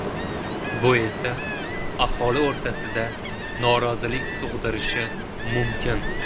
Bu esa aholi o‘rtasida norozilik tug‘dirishi mumkin.